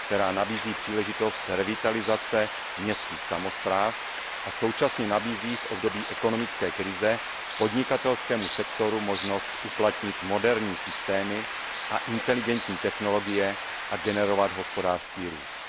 která nabízí příležitost revitalizace městských samospráv a současně nabízí v období ekonomické krize podnikatelskému sektoru možnost uplatnit moderní systémy a inteligentní technologie a generovat hospodářský růst.